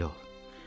Dözümlü ol.